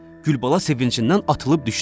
Gülbala sevincindən atılıb düşdü.